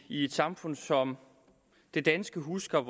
i et samfund som det danske husker